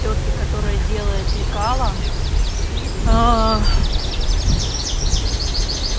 тётке которая делает лекало